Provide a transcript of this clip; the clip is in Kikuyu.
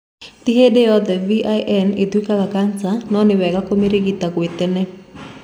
Tĩ hĩndĩ yothe VIN ĩtũikaga cancer no ni wega kũmĩrigita gwĩ tene.